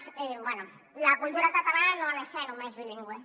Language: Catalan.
bé la cultura catalana no ha de ser només bilingüe